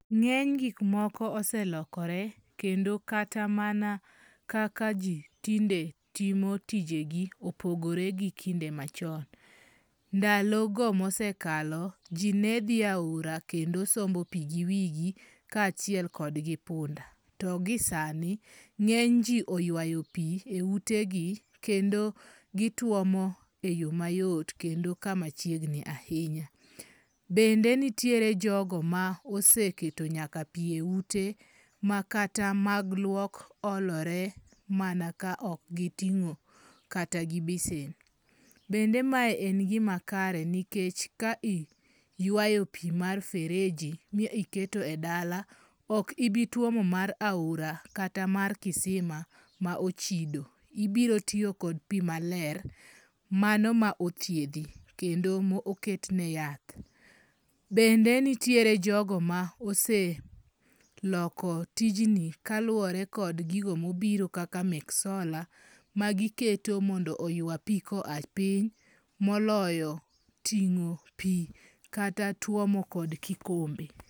Ng'eny gik moko oselokore kendo kata mana kaka ji tinde timo tijegi opogore gi kinde machon. Ndalo go mosekalo, ji nedhi aora kendo sombo pii giwigi kachiel kodgi punda, to gi sani ng'eny ji oyaywo pii eutegi kendo gituomo eyo mayot kendo kama chiegni ahinya. Bende nitiere jogo ma oseketo nyaka pii eute ma kata mag luok olore mana ka okgiting'o kata gi besen. Bende mae en gimakare nikech ka iywayo pii mar fereji miketo edala, okibi tuomo mar aora kata mar kisima ma ochido, ibiro tiyo kod pii maler mano ma othiedhi, kendo moketne yath. Bende nitiere jogo ma ose loko tijni kaluore kod gigo mobiro kaka mek sola magiketo mondo oywa pii koa piny moloyo ting'o pii kata tuomo kod kikombe.